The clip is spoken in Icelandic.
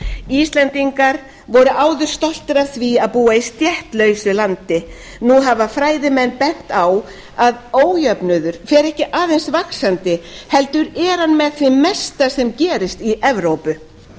íslendingar voru áður stoltir af því að búa í stéttlausu landi nú hafa fræðimenn bent á að ójöfnuður fer ekki aðeins vaxandi heldur er hann með því mesta sem gerist í evrópu þetta